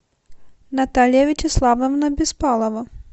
наталья вячеславовна беспалова